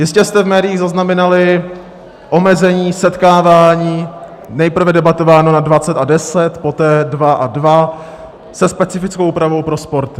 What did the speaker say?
Jistě jste v médiích zaznamenali omezení setkávání, nejprve debatováno na 20 a 10, poté 2 a 2, se specifickou úpravou pro sporty.